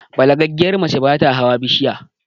Balagaggiyar mace bata hawa kan bishiya